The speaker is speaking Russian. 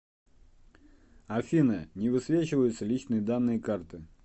афина не высвечиваются личные данные карты